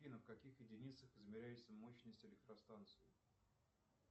афина в каких единицах измеряется мощность электростанции